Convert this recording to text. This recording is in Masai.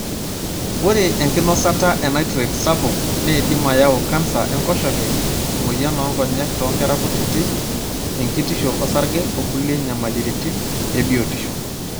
Ore enkinosata enitrate sapuk neidim ayau canser enkoshoke, emoyian onkonyek tonkera kutiti, enkitisho osarge okulie nyamaliritin ebiotisho.